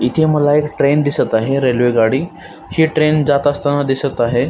इथे मला एक ट्रेन दिसत आहे रेल्वे गाडी ही ट्रेन जात असताना दिसत आहे.